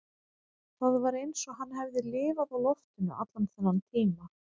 Það var eins og hann hefði lifað á loftinu allan þennan tíma